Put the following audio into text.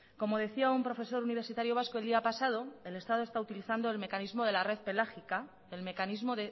como decía un profesor universitario vasco el día pasado el estado está utilizando el mecanismo de la red pelágica el mecanismo